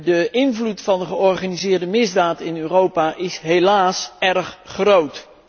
De invloed van de georganiseerde misdaad in Europa is helaas erg groot.